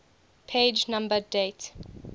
page number date